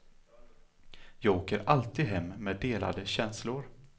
Jag åker alltid hem med delade känslor.